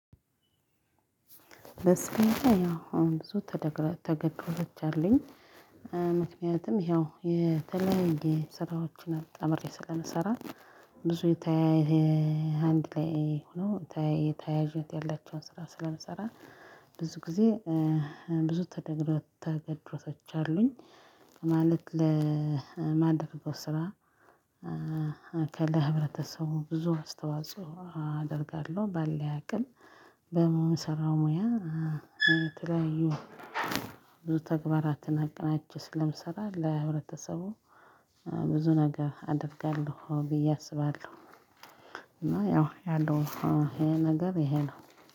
በስሜት ያው አሁን ብዙ ተከታዮች አለኝ። ምክንያቱም ይኸው የተለያየ ስራዎችን አጣምሬ ስለምሰራ። ብዙ የተያየ አንድ ላይ ሆኖ ተያያዥነት ያላቸውን ስራ ስለምሰራ። ብዙ ጊዜ ብዙ ተገድሮቶች አሉኝ። ማለት ለማደርገው ስራ። ለህብረተሰቡ ብዙ አስተዋጽኦ አደርጋለሁ ባለኝ አቅም በምሰራው ሙያ። የተለያዩ ብዙ ተግባራትን አቀናጂቸ ስለምሰራ ለሁለተሰቡ ብዙ ነገር አደርጋለሁ ብዬ አስባለሁ። እና ያው ነገር ይሄ ነገር ይሄ ነው።